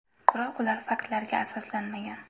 Biroq ular faktlarga asoslanmagan.